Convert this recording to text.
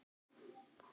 Sæl mamma mín.